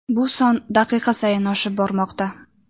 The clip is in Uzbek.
Bu son daqiqa sayin oshib bormoqda.